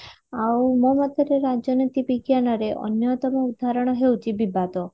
ଆଉ ମୋ ମତରେ ରାଜନୀତି ବିଜ୍ଞାନରେ ଅନ୍ଯତମ ଉଦାହରଣ ହେଉଛି ବିବାଦ